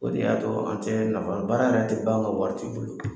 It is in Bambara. O de y'a to an tɛ nafa, baara yɛrɛ tɛ ban anw ka waritigi bolo !